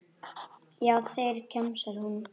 Já, þeir, kjamsar hún.